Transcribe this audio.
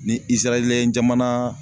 Ni Isɛrayila jamana